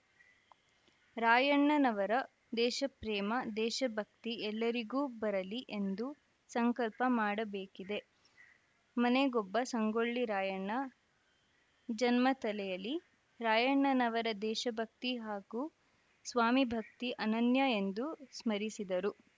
ರಾಯಣ್ಣನವರ ದೇಶಪ್ರೇಮ ದೇಶಭಕ್ತಿ ಎಲ್ಲರಿಗೂ ಬರಲಿ ಎಂದು ಸಂಕಲ್ಪ ಮಾಡಬೇಕಿದೆ ಮನೆಗೊಬ್ಬ ಸಂಗೊಳ್ಳಿ ರಾಯಣ್ಣ ಜನ್ಮ ತಳೆಯಲಿ ರಾಯಣ್ಣನವರ ದೇಶಭಕ್ತಿ ಹಾಗೂ ಸ್ವಾಮಿ ಭಕ್ತಿ ಅನನ್ಯ ಎಂದು ಸ್ಮರಿಸಿದರು